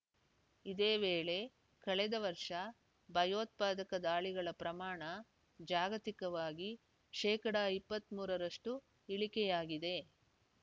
ಇದೇ ವೇಳೆ ಕಳೆದ ವರ್ಷ ಭಯೋತ್ಪಾದಕ ದಾಳಿಗಳ ಪ್ರಮಾಣ ಜಾಗತಿಕವಾಗಿ ಶೇಕಡಾ ಇಪ್ಪತ್ತ್ ಮೂರರಷ್ಟುಇಳಿಕೆಯಾಗಿದೆ